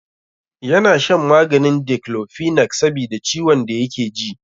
Ya na shan maganin Diklofenak sabida ciwon da yake ji.